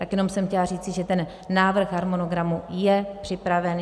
Tak jenom jsem chtěla říci, že ten návrh harmonogramu je připraven.